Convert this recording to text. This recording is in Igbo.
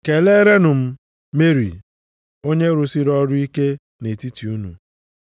Keleerenụ m Meri, onye rụsịrị ọrụ ike nʼetiti unu.